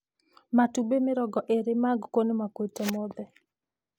Matumbĩ mĩrongo ĩrĩ ma ngũkũ nĩ makuĩte mothe